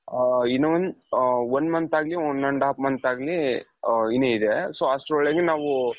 ಇನ್ನು one one month ಆಗ್ಲಿ one and half month ಆಗ್ಲಿ ಇನ್ನು ಇದೆ so ಅಷ್ಟರೊಳಗೆ ನಾವು ,